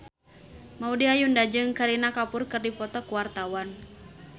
Maudy Ayunda jeung Kareena Kapoor keur dipoto ku wartawan